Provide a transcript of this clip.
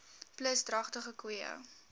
plus dragtige koeie